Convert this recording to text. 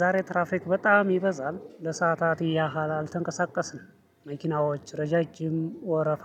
ዛሬ ትራፍሪክ በጣም ይበዛል ለሰአታት ያህል አልተንቀሳቀስንም መኪናዎች ረጃጂም ወረፋ።